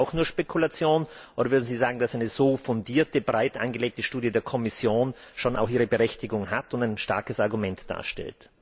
Ist das für Sie auch nur Spekulation, oder würden Sie sagen, dass eine so fundierte, breit angelegte Studie der Kommission schon auch ihre Berechtigung hat und ein starkes Argument darstellt?